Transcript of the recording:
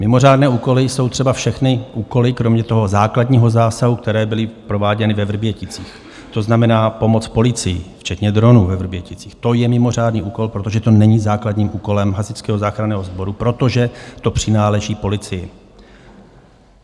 Mimořádné úkoly jsou třeba všechny úkoly, kromě toho základního zásahu, které byly prováděny ve Vrběticích, to znamená pomoc policii, včetně dronů ve Vrběticích, to je mimořádný úkol, protože to není základním úkolem Hasičského záchranného sboru, protože to přináleží policii.